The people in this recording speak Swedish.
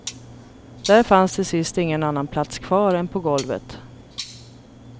Där fanns till sist ingen annan plats kvar än på golvet.